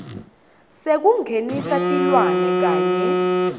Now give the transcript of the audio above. sekungenisa tilwane kanye